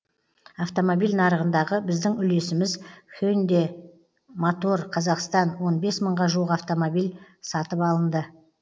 автомобиль нарығындағы біздің үлесіміз хендэ мотор казахстан он бес мыңға жуық автомобиль сатып алынды